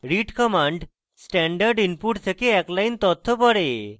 read command standard input থেকে এক line তথ্য পড়ে